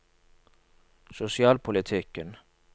sosialpolitikken